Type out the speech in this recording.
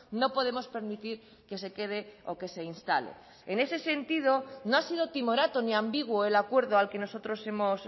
no podemos permitir que se quede o que se instale en ese sentido no ha sido timorato ni ambiguo el acuerdo al que nosotros hemos